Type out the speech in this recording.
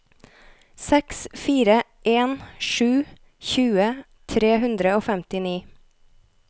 seks fire en sju tjue tre hundre og femtini